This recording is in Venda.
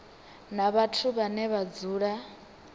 na vhathu vhane vha dzula